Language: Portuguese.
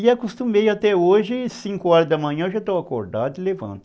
E acostumei até hoje, cinco horas da manhã eu já estou acordado e levanto.